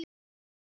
Stefán Helgi.